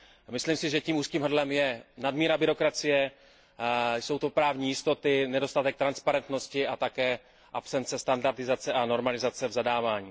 Myslím si, že tím úzkým hrdlem je nadmíra byrokracie, jsou to právní jistoty, nedostatek transparentnosti a také absence standardizace a normalizace v zadávání.